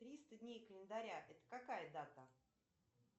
триста дней календаря это какая дата